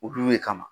Olu de kama